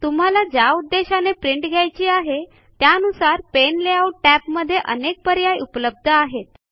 तुम्हाला ज्या उद्देशाने प्रिंट घ्यायची आहे त्यानुसार पाने लेआउट टॅबमध्ये अनेक पर्याय उपलब्ध आहेत